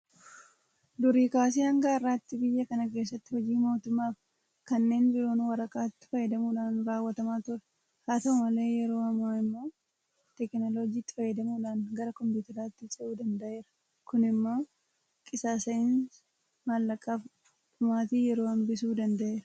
Durii kaasee hanga har'aatti biyya kana keessatti hojiin mootummaafi kanneen biroo waraqaatti fayyadamuudhaan raawwatamaa ture. Haa ta'u malee yeroo ammaa immoo teekinooloojiitti fayyadamuudhaan gara kompiitaraatti cehuu danda'eera. Kun immoo qisaasa'insa maallaqaafi dhumaatii yeroo hambisuu danda'eera.